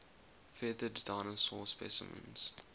feathered dinosaur specimens